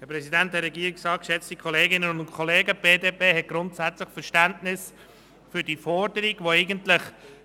Die BDP hat grundsätzlich Verständnis für die Forderung, die